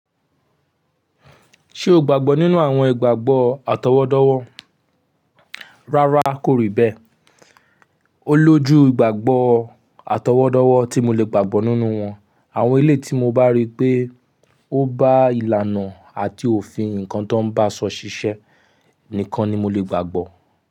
Ṣé o gbàgbọ́ nínú àwọn ìgbàgbọ́ àtọwọ́dọ́wọ́? Rárá kò rì bẹ́ẹ̀. Ó lójú ìgbàgboọ́ àtọwọ́dọ́wọ́ tí mo lè gbàgbọ́ nínú wọn. Àwọn eleyii tí mo bá rí pé ó bá ìlànà àti òfin nǹkan tó ń ba sọ ṣiṣẹ́ nìkan ni mo lè gbàgbọ́